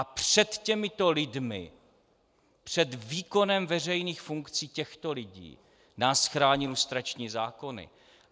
A před těmito lidmi, před výkonem veřejných funkcí těchto lidí nás chrání lustrační zákony.